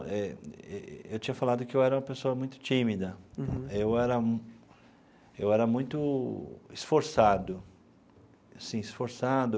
Eu tinha falado que eu era uma pessoa muito tímida. Uhum. Eu era eu era muito esforçado, assim, esforçado,